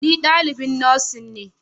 Ni dalibin Nursing ne